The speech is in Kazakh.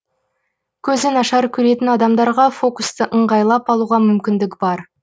көзі нашар көретін адамдарға фокусты ыңғайлап алуға мүмкіндік бар